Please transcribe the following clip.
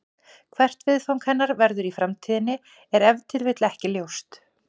Hvert viðfang hennar verður í framtíðinni er ef til vill ekki ljóst.